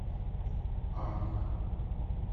алик